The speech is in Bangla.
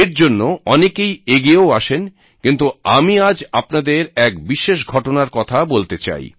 এর জন্য অনেকেই এগিয়েও আসেন কিন্ত আমি আজ আপনাদের এক বিশেষ ঘটনার কথা বলতে চাই